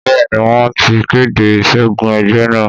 Bẹ́ẹ̀ ni, wọ́n ti kéde ìṣẹ́gun ẹgbẹ́ náà.